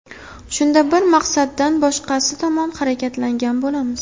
Shunda bir maqsaddan boshqasi tomon harakatlangan bo‘lamiz.